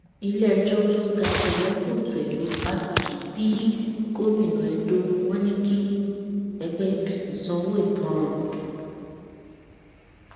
iléẹjọ tó ga jù lọ fọńté lu ọbaṣẹkí bíi gómìnà edo wọn ni kí ẹgbẹ apc sanwó ìtanràn